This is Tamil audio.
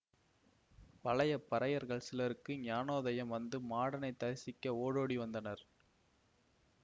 பழைய பறையர்கள் சிலருக்கு ஞானோதயம் வந்து மாடனைத் தரிசிக்க ஓடோடி வந்தனர்